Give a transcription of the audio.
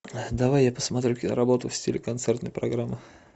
давай я посмотрю киноработу в стиле концертной программы